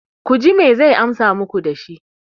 ku ji me zai amsa muku da shi?